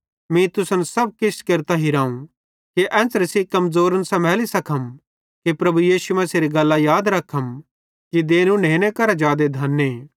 मीं तुसन सब किछ केरतां हिराव कि एन्च़रे सेइं कमज़ोरन समैली सकतम कि प्रभु यीशु मसीहेरी गल्लां याद रखम कि देनू नेने करां जादे धने